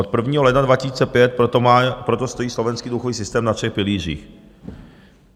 Od 1. ledna 2005 proto stojí slovenský důchodový systém na třech pilířích.